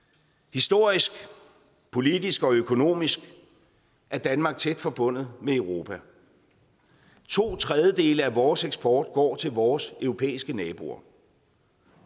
historisk politisk og økonomisk er danmark tæt forbundet med europa to tredjedele af vores eksport går til vores europæiske naboer